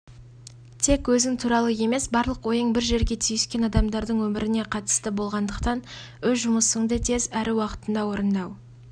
тек өзің туралы емес барлық ойың бір жерге түйіскен адамдардың өміріне қатысты болғандықтан өз жұмысыңды тез әрі уақытында орындау